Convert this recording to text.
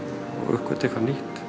uppgötva eitthvað nýtt